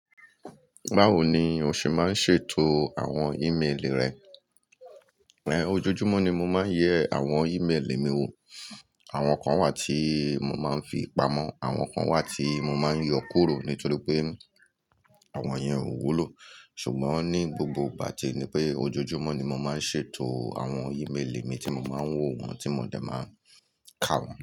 Báwo ni o ṣẹ máa ń ṣètò àwọn ìméélì rẹ? Ojoojúmọ́ ni mo máa ń yẹ àwọn ìméélì mi wò. Àwọn kan wà tí mo máa ń fi pamọ́, àwọn kan wà tí mo máa ń yọ kúrò nítorí pé àwọn yẹn ò wúlò. Sùgbọ́n ní gbogbo ìgbà tìe ní pé ojoojúmọ́ ni mo máa ń ṣètò àwọn ìméélì mi tí mo máa ń wò wọ́n ti mo dẹ̀ máa ń kà wọ́n.